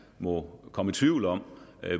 må komme i tvivl om